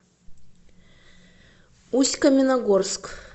усть каменогорск